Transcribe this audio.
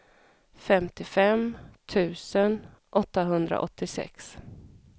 femtiofem tusen åttahundraåttiosex